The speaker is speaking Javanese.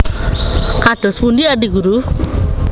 Kados pundi Adi Guru